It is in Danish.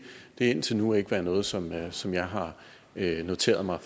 har indtil nu ikke været noget som jeg som jeg har noteret mig